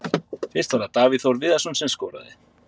Fyrst var það Davíð Þór Viðarsson sem skoraði.